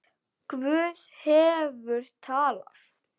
Guð hefur talað.